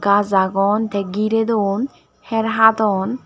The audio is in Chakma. gaas agon tey gerey dun heer hadon.